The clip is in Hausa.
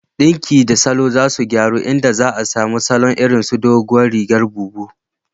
Ɗinki da salo za su gyaru, inda za a samu salo irin su "Doguwar rigar bubu"